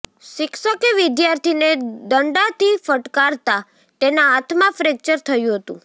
શિક્ષકે વિદ્યાર્થીને દંડાથી ફટકારતા તેના હાથમાં ફ્રેક્ચર થયું હતું